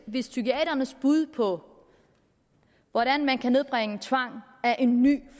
hvis psykiaternes bud på hvordan man kan nedbringe tvang er en ny